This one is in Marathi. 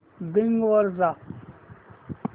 बिंग वर जा